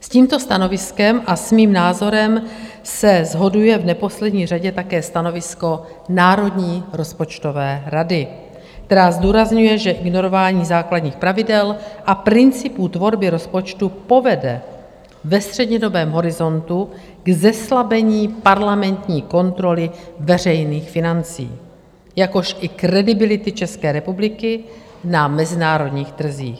S tímto stanoviskem a s mým názorem se shoduje v neposlední řadě také stanovisko Národní rozpočtové rady, která zdůrazňuje, že ignorování základních pravidel a principů tvorby rozpočtu povede ve střednědobém horizontu k zeslabení parlamentní kontroly veřejných financí, jakož i kredibility České republiky na mezinárodních trzích.